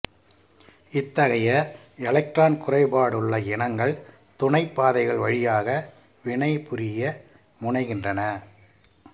இத்தகைய எலக்ட்ரான்குறைபாடுள்ள இனங்கள் துணைப் பாதைகள் வழியாக வினைபுரிய முனைகின்றன